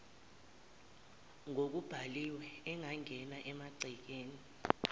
ngokubhaliwe angangena emangcekeni